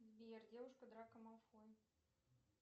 сбер девушка драка малфоя